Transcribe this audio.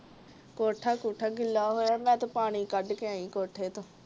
ਕੋਠਾ ਕੂਠਾ ਗਿੱਲਾ ਹੋਇਆ ਮੈਂ ਤੇ ਪਾਣੀ ਕੱਢ ਕੇ ਆਈ ਕੋਠੇ ਤੋਂ